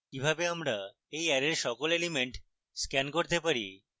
কিভাবে আমরা এই অ্যারের সকল elements scan করতে পারি